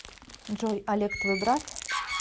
джой олег твой брат